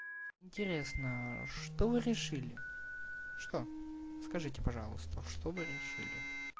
интересно что решили что скажите пожалуйста что вы решили